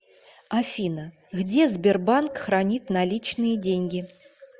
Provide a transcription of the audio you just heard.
афина где сбербанк хранит наличные деньги